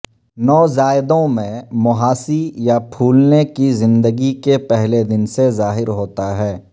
نوزائیدہوں میں مںہاسی یا پھولنے کی زندگی کے پہلے دن سے ظاہر ہوتا ہے